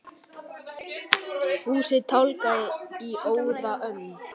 Fúsi tálgaði í óða önn.